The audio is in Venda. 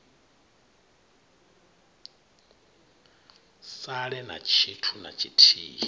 sale na tshithu na tshithihi